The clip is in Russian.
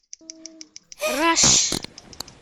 раш